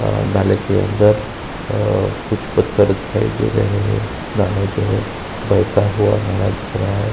अ नाले के अंदर अ कुछ पत्थर दिखाई दे रहे हैं। नाला जो है बहता हुआ नाला दिख रहा है।